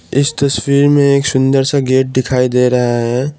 इस तस्वीर में एक सुंदर सा गेट दिखाई दे रहा है।